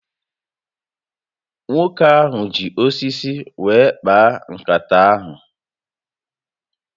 Nwoke ahụ ji osisi were kpaa nkata ahụ